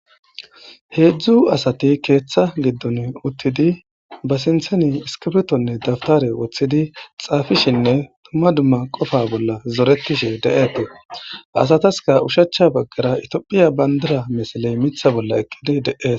Hezdzdu asati marara utidi be sinthan sinthan iskipirtonne dawutare wothidi dumma dumma Qopa bolla zoretishenne de'etes, asataska oshicha bagara itophiya bandira misiley Mitha bolla eqid De'esi.